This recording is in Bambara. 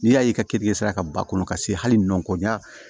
N'i y'a ye i ka keninge ka bɔ a kɔnɔ ka se hali nɔn ko ɲɛ